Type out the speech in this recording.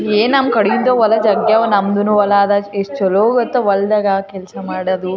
ವಿದ್ಯುತ್ ಖಂಬಗಳು ವಿದ್ಯುತ್ ತಾರ್ಗಳು ಹಿಂದ್ಗಡೆ ದೊಡ್ದು ಮರಾ ಎಲ್ಲ ಕಾಣಿಸುತ್ತಿದೆ.